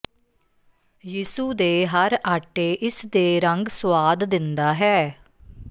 ਯਿਸੂ ਦੇ ਹਰ ਆਟੇ ਇਸ ਦੇ ਰੰਗ ਸੁਆਦ ਦਿੰਦਾ ਹੈ